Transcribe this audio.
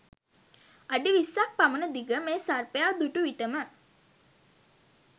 අඩි විස්සක් පමණ දිග මේ සර්පයා දුටු විටම